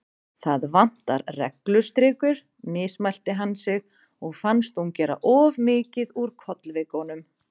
Það vantar reglustrikur, mismælti hann sig og fannst hún gera of mikið úr kollvikunum.